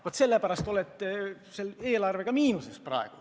Vaat sellepärast te oletegi eelarvega praegu miinuses.